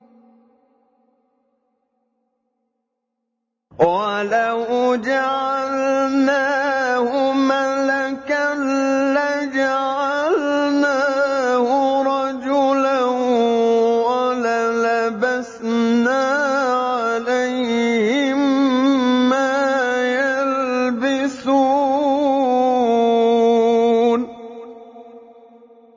وَلَوْ جَعَلْنَاهُ مَلَكًا لَّجَعَلْنَاهُ رَجُلًا وَلَلَبَسْنَا عَلَيْهِم مَّا يَلْبِسُونَ